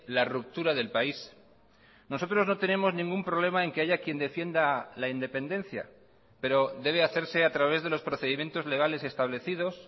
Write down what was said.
la ruptura del país nosotros no tenemos ningún problema en que haya quien defienda la independencia pero debe hacerse a través de los procedimientos legales establecidos